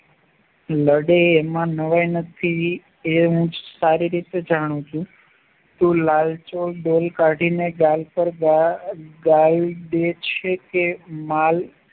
લડે અને એમાં નવાઈ નથી એ હું સારી રીતે જાણું છું તું લવ છો છે કે માલ